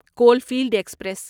Caulfield express